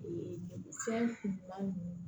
fɛnw